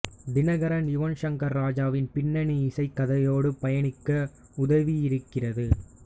தினகரன் யுவன் சங்கர் ராஜாவின் பின்னணி இசை கதையோடு பயணிக்க உதவியிருக்கிறது